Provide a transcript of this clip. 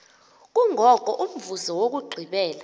kungoko umvuzo wokugqibela